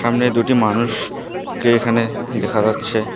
সামনে দুটি মানুষকে এখানে দেখা যাচ্ছে।